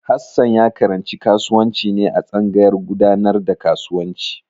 Hassan ya karanci kasuwanci ne a tsangayar gudanar da kasuwanci.